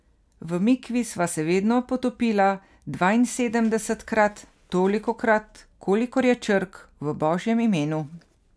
V mikvi sva se vedno potopila dvainsedemdesetkrat, tolikokrat, kolikor je črk v Božjem imenu.